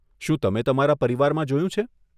શું તમે તમારા પરિવારમાં જોયું છે?